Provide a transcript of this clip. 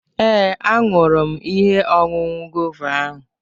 Ee, ahụrụ m ihe ọṅụṅụ guava ahụ